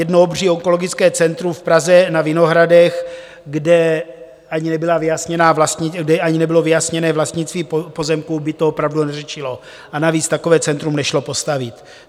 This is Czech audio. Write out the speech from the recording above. Jedno obří onkologické centrum v Praze na Vinohradech, kde ani nebylo vyjasněné vlastnictví pozemků, by to opravdu neřešilo, a navíc takové centrum nešlo postavit.